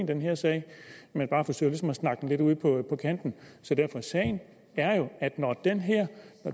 den her sag men bare forsøger ligesom at snakke den lidt ud på kanten så sagen er jo at når den